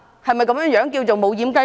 是否這樣便是"無掩雞籠"？